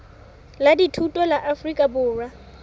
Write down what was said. la dithuto la afrika borwa